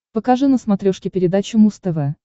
покажи на смотрешке передачу муз тв